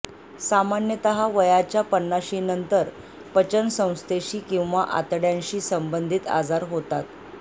सामान्यतः वयाच्या पन्नाशीनंतर पचनसंस्थेशी किंवा आतड्यांशी संबंधित आजार होतात